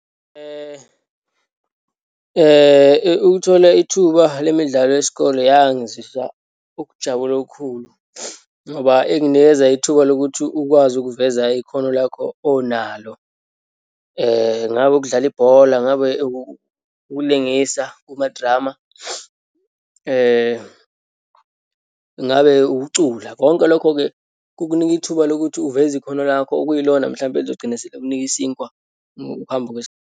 Ukuthola ithuba lemidlalo yesikole yangizwisa ukujabula okukhulu ngoba inginikeza ithuba lokuthi ukwazi ukuveza ikhono lakho onalo. Ngabe ukudlala ibhola, ngabe ukulungisa kuma-drama, ngabe ukucula. Konke lokho-ke kukunika ithuba lokuthi uveze ikhono lakho okuyilona, mhlampe elizogcina selikunika isinkwa ukuhamba .